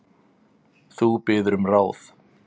Þú biður um ráð.